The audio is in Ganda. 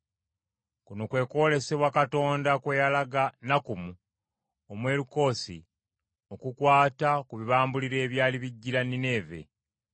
Kuno kwe kwolesebwa Katonda kwe yalaga Nakkumu, Omwerukoosi okukwata ku bibambulira ebyali bijjira Nineeve.